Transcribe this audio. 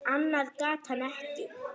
Annað gat hann ekki.